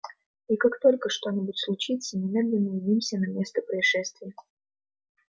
и как только что-нибудь случится немедленно явимся на место происшествия